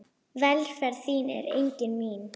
Velferð þín er einnig mín.